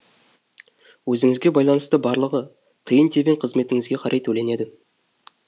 өзіңізге байланысты барлығы тиын тебен қызметіңізге қарай төленеді